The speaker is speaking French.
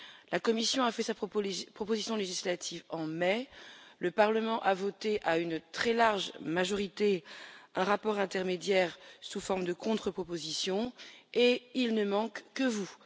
La Commission a fait sa proposition législative en mai, le Parlement a voté à une très large majorité un rapport intermédiaire sous forme de contre propositions, et il ne manque que vous.